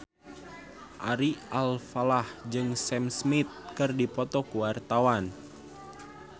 Ari Alfalah jeung Sam Smith keur dipoto ku wartawan